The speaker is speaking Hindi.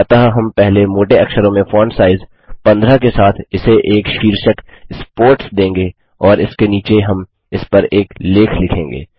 अतः हम पहले मोटे अक्षरों में फॉन्ट साइज़ 15 के साथ इसे एक शीर्षक स्पोर्ट्स देंगे और इसके नीचे हम इसपर एक लेख लिखेंगे